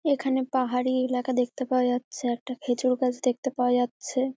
এখানে পাহাড়ি এলাকা দেখতে পাওয়া যাচ্ছে একটা খেজুর গাছ দেখতে পাওয়া যাচ্ছে।